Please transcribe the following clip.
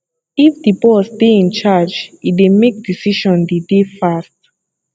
if di boss dey in charge e dey make decision dey dey fast